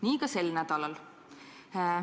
Nii ka sel nädalal.